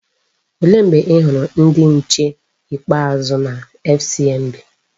Olee mgbe i hụrụ ndị nche ikpeazụ na FCMB?